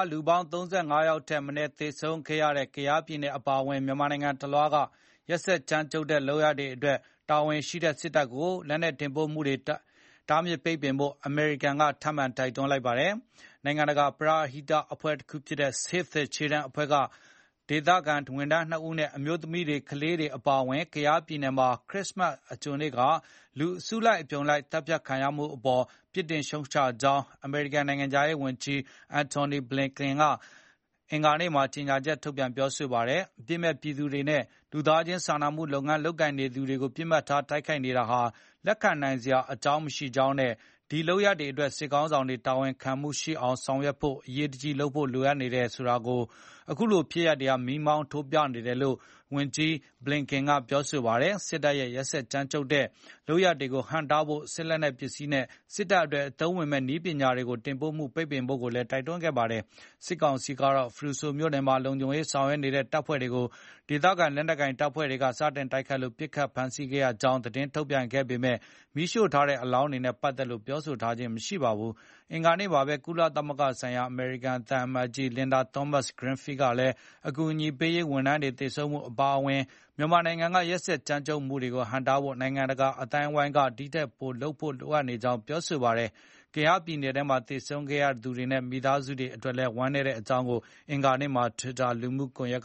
လူပေါင်း ၃၅ ယောက်ထက်မနည်း သေဆုံးခဲ့ရတဲ့ ကယားပြည်နယ် အပါအဝင် မြန်မာနိုင်ငံတလွှားက ရက်စက်ကြမ်းကြုတ်တဲ့ လုပ်ရပ်တွေအတွက် တာဝန်ရှိတဲ့ စစ်တပ်ကို လက်နက်တင်ပို့မှုတွေ တားမြစ်ရေး အမေရိကန်က ထပ်မံ တိုက်တွန်းလိုက်ပါတယ်။ နိုင်ငံတကာ ပရဟိတ အဖွဲ့တခုဖြစ်တဲ့ Save the Children အဖွဲ့က ဒေသခံ ဝန်ထမ်း ၂ ဦးနဲ့ အမျိုးသမီးတွေ၊ ကလေးတွေ အပါအဝင် ကယားပြည်နယ်မှာ ခရစ္စမတ် အကြိုနေ့က လူအစုလိုက် အပြုံလိုက် သတ်ဖြတ်ခံရမှုအပေါ် ပြစ်တင်ရှုတ်ချကြောင်းလည်း အမေရိကန်နိုင်ငံခြားရေးဝန်ကြီး Antony Blinken က အင်္ဂါနေ့မှာ ကြေညာချက် ထုတ်ပြန် ပြောဆိုလိုက်ပါတယ်။ အပြစ်မဲ့ပြည်သူတွေနဲ့ လူသားခြင်းစာနာမှုလုပ်ငန်းကိုင်နေသူတွေကိုပစ်မှတ်ထား တိုက်ခိုက်နေတာဟာ လက်ခံနိုင်စရာ မရှိကြောင်းနဲ့ ဒီလုပ်ရပ်တွေအတွက် စစ်ခေါင်းဆောင်တွေ တာဝန်ခံမှုရှိအောင် ဆောင်ရွက်ဖို့ အရေးတကြီးလိုအပ်နေတယ်ဆိုတာ အခုဖြစ်ရပ်တွေက မီးမောင်းထိုးပြနေတယ်လို့လည်း ဝန်ကြီး Blinken ကပြောပါတယ်။ စစ်တပ်ရဲ့ ရက်စက်ကြမ်းကြုတ်တဲ့ လုပ်ရပ်တွေကို ဟန့်တားဖို့ စစ်လက်နက်ပစ္စည်းတွေနဲ့ စစ်တပ်အတွက် အသုံးဝင်မယ့် နည်းပညာတွေ တင်ပို့မှုကို ပိတ်ပင်ဖို့လည်း တိုက်တွန်းခဲ့တာပါ။ စစ်ကောင်စီကတော့ ဖရူဆိုမြို့နယ်မှာ လုံခြုံရေးဆောင်ရွက်နေတဲ့ တပ်ဖွဲ့တွေကို ဒေသခံ လက်နက်ကိုင်အဖွဲ့တွေ စတင်တိုက်ခိုက်လို့ ပစ်ခတ်ဖမ်းဆီးခဲ့ရကြောင်း သတင်းထုတ်ပြန်ခဲ့ပေမဲ့ မီးရှို့ထားတဲ့ အလောင်းတွေနဲ့ ပတ်သက်လို့ ပြောဆိုထားတာတော့ မရှိပါဘူး။ အင်္ဂါနေ့မှာပဲ ကုလသမဂ္ဂဆိုင်ရာ အမေရိကန်သံအမတ်ကြီး Linda Thomas-Greenfield ကလည်း အကူအညီပေးရေး ဝန်ထမ်းတွေ သေဆုံးမှု အပါအဝင် မြန်မာနိုင်ငံက ရက်စက်ကြမ်းကြုတ်မှုတွေကို ဟန့်တားဖို့ နိုင်ငံတကာ အသိုင်းအဝန်းက ဒီထက်ပိုလုပ်ဖို့ လိုအပ်နေကြောင်း ပြောဆိုလိုက်ပါတယ်။ ကယားပြည်နယ်မှာ သေဆုံးခဲ့ရသူတွေနဲ့ မိသားစုတွေအတွက် ဝမ်းနည်းကြောင်းလည်း အင်္ဂါနေ့က Twitter လူမှုကွန်ရက်